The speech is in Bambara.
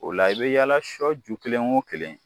O la i bi yaala sɔ ju kelen o ju kelen